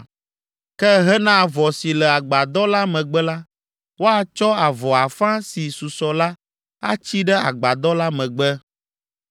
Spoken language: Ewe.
Ke hena avɔ si le agbadɔ la megbe la, woatsɔ avɔ afã si susɔ la atsi ɖe agbadɔ la megbe.